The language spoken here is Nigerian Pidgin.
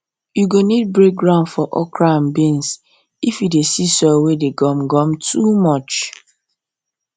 you go need break ground for okra and beans if you dey see soil wey dey gum gum too much